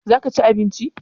za ka ci abinci?